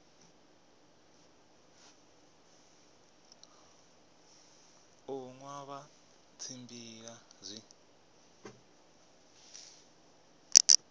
u nwa vha tshimbila zwi